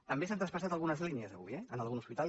també s’han traspassat algunes línies avui eh en algun hospital